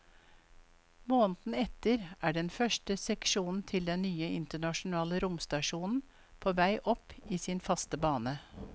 Måneden etter er den første seksjonen til den nye internasjonale romstasjonen på vei opp i sin faste bane.